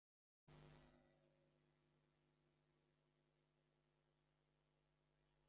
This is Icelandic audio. Þannig að þú hefur kannski ekki getað borðað páskaegg í gær?